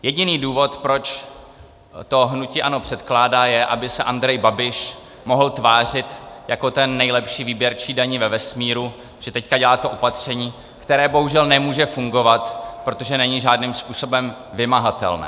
Jediný důvod, proč to hnutí ANO předkládá, je, aby se Andrej Babiš mohl tvářit jako ten nejlepší výběrčí daní ve vesmíru, že teď dělá to opatření, které bohužel nemůže fungovat, protože není žádným způsobem vymahatelné.